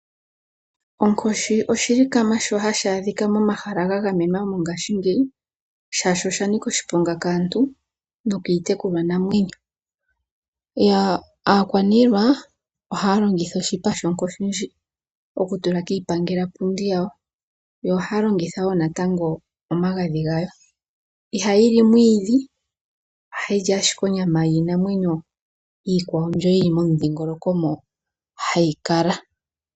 Onkoshi oshilikama shoka hashi adhika momahala gagamenwa mongaashi ngeyi shashi oshanika oshiponga kaantu nokiitekulwa namwenyo. Aakwanilwa ohaalongitha oshipa shonkoshi okutula kiipangela pundi yawo yo ohaalongitha omagadhi ngawo. Onkoshi ihayili omwiidhi ashike ohayili onyama yiinamwenyo iikwawo ndjoka yili momudhingoloko moka hayi kala.